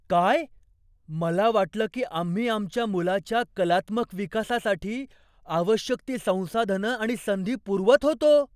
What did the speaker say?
काय? मला वाटलं की आम्ही आमच्या मुलाच्या कलात्मक विकासासाठी आवश्यक ती संसाधनं आणि संधी पुरवत होतो.